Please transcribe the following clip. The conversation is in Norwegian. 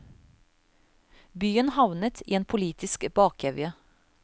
Byen havnet i en politisk bakevje.